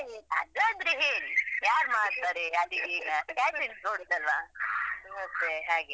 ಅದು ಆದ್ರೆ ಹೇಳಿ ಯಾರು ಮಾಡ್ತಾರೆ ಅಡುಗೆ ಈಗ catering ನೋಡುದಲ್ಲ ಮತ್ತೆ ಹಾಗೆ.